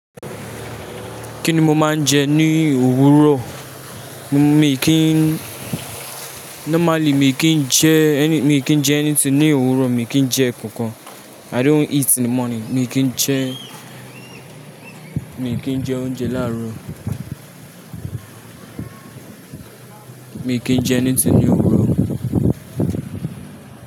Kíni mo máa ń jẹ ní òwúrọ̀? Mi kì í, normally mi kì í jẹ, mi kì í jẹ anything ní òwúrọ̀, mi kì í jẹ ẹ̀ kankan. I don't eat in the morning. Mi kì í jẹ, mi kì n jẹ oúnjẹ láàárọ̀. Mi kì í jẹ anything ni ní òwúrọ̀.